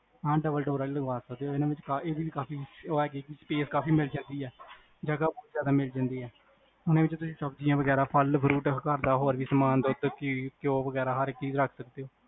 ਹਾਂ, double door ਆਲੀ ਲਗਵਾ ਇਹ ਵੀ ਕਾਫੀ ਇਹ ਹੈ ਕੀ space ਕਾਫੀ ਮਿਲ੍ਜਾਂਦੀ ਆ, ਜਗਹ ਬੋਹਤ ਜਾਦਾ ਮਿਲ ਜਾਂਦੀ ਆ ਹੁਣ ਏਦੇ ਵਿੱਚ ਤੁਸੀਂ, ਸਬਜੀਆਂ ਵਗੇਰਾ, ਫਲ fruit, ਹੋਰ ਵੀ ਸਮਾਨ, ਦੁਧ, ਘੀ ਘਯੋ ਵਗੇਰਾ, ਹਰ ਚੀਜ ਰਖ ਸਕਦੇ ਹੋ